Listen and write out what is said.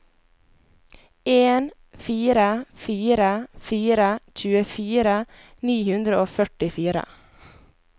en fire fire fire tjuefire ni hundre og førtifire